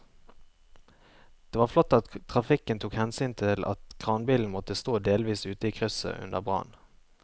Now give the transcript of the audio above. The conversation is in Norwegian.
Det var flott at trafikken tok hensyn til at kranbilen måtte stå delvis ute i krysset under brannen.